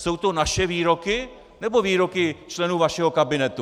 Jsou to naše výroky, nebo výroky členů vašeho kabinetu?